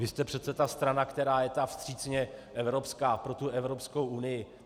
Vy jste přece ta strana, která je ta vstřícně evropská pro tu Evropskou unii.